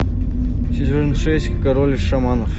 сезон шесть король шаманов